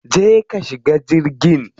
Je ka shiga jirgin.